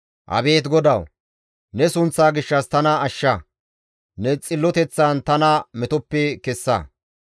Abeet GODAWU! Ne sunththa gishshas tana ashsha; ne xilloteththan tana metoppe kessa.